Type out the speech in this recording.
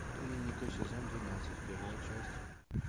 клиника сезон двенадцать первая часть